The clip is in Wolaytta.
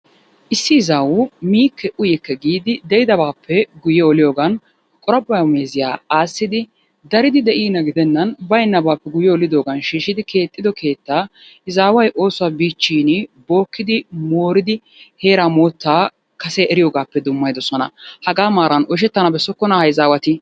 Issi izaway mikke uyikke giddi deidabappe guyee oliyogan qorapuwa meziya assidi daridi deinna gidenani baynabappe guyyee olididoganni shishidi kexiddo kettaa izaway osuwaa bichin bokidi moridi, heta motta kasee eriyogappe dumayidosonna, haga maran oyshettanna besokonna ha izzaeatti?